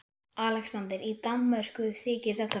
ALEXANDER: Í Danmörku þykir þetta fyndið!